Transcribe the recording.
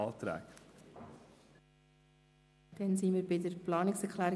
Wir sind bei der Planungserklärung